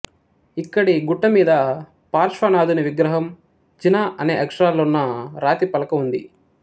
ఇక్కడి గుట్టమీద పార్శ్వనాథుని విగ్రహం జిన అనే అక్షరాలున్న రాతిపలక ఉంది